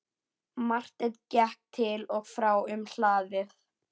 Marteinn gekk til og frá um hlaðið.